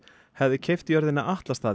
hefði keypt jörðina